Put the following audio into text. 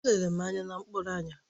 O lere m anya na mkpụrụ anya